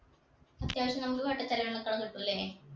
അത്യാവശ്യം നമ്മക്ക് വട്ട ചിലവിനുള്ളക്കെ കിട്ടുല്ലേ